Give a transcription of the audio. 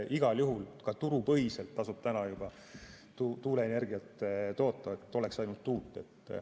Igal juhul ka turupõhiselt tasub juba tuuleenergiat toota, oleks ainult tuult.